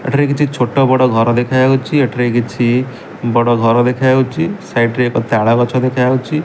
ଏଠାରେ କିଛି ଛୋଟ ବଡ ଘର ଦେଖାଯାଉଚି ଏଠାରେ କିଛି ବଡ ଘର ଦେଖାଯାଉଚି ସାଇଡ୍ ଏକ ତାଳ ଗଛ ଦେଖାଯାଉଚି ।